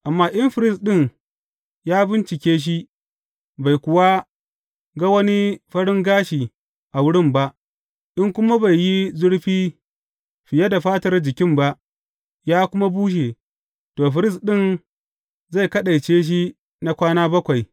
Amma in firist ɗin ya bincike shi bai kuwa ga wani farin gashi a wurin ba, in kuma bai yi zurfi fiye da fatar jikin ba, ya kuma bushe, to, firist ɗin zai kaɗaice shi na kwana bakwai.